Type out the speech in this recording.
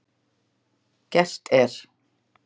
Gert er